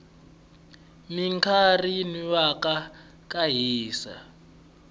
minkarhi yinwana ka hisa